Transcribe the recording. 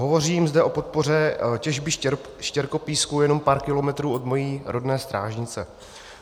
Hovořím zde o podpoře těžby štěrkopísku jenom pár kilometrů od mojí rodné Strážnice.